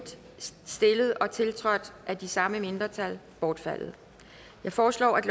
stillet og tiltrådt af de samme mindretal bortfaldet jeg foreslår at